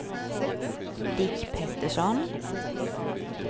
Dick Pettersson